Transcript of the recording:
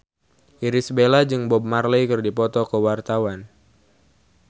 Irish Bella jeung Bob Marley keur dipoto ku wartawan